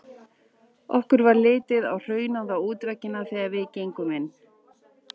Okkur varð litið á hraunaða útveggina þegar við gengum inn.